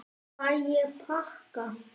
Fæ ég pakka?